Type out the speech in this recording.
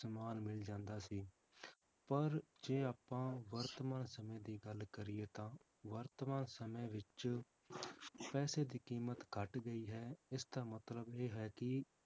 ਸਮਾਨ ਮਿਲ ਜਾਂਦਾ ਸੀ ਪਰ ਜੇ ਆਪਾਂ ਵਰਤਮਾਨ ਸਮੇਂ ਦੀ ਗੱਲ ਕਰੀਏ ਤਾਂ ਵਰਤਮਾਨ ਸਮੇਂ ਵਿੱਚ ਪੈਸੇ ਦੀ ਕੀਮਤ ਘੱਟ ਗਈ ਹੈ ਇਸਦਾ ਮਤਲਬ ਇਹ ਹੈ ਕਿ